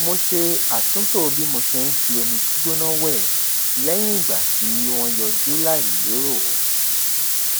mo ṣe àtúntò bi mo ṣe ń fi omi gbígbóná wẹ lẹyìn ìgbà tí wọn yọjú láì lérò